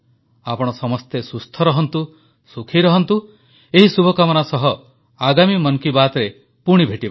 ଆପଣ ସମସ୍ତେ ସୁସ୍ଥ ରହନ୍ତୁ ସୁଖୀ ରହନ୍ତୁ ଏହି ଶୁଭକାମନା ସହ ଆଗାମୀ ମନ କୀ ବାତ୍ରେ ପୁଣି ଭେଟିବା